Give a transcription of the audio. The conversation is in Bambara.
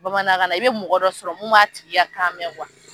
Bamanankan i bɛ mɔgɔ dɔ sɔrɔ mun b'a tigi ka kan mɛn